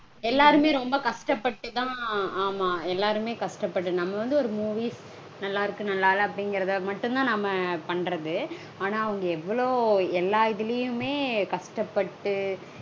எல்லாருமே ரொம்ப கஷ்டப்பட்டுதா ஆமா எல்லாருமே கஷ்டப்பட்டு நம்ம வந்து ஒரு movies நல்லா இருக்கு நல்லா இல்ல அப்டீங்கறத மட்டும்தா நாம பண்றது. ஆனா அவங்க எவ்ளோ எல்லா இதுலையுமே கஷ்டப்பட்டு